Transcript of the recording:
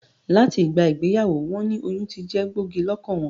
Làti ìgbà ìgbeyàwó won ni oyún tijé gbògí lókàn won